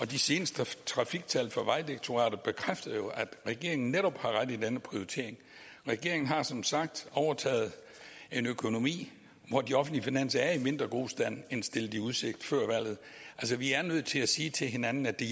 de seneste trafiktal fra vejdirektoratet bekræfter jo at regeringen netop har ret i denne prioritering regeringen har som sagt overtaget en økonomi hvor de offentlige finanser er i mindre god stand end stillet i udsigt før valget altså vi er nødt til at sige til hinanden at det